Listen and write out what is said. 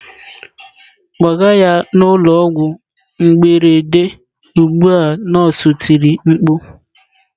"Kpọga ya n'ụlọ ọgwụ mberede ugbu a" nọọsụ tiri mkpu